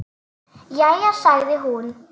Jæja sagði hún.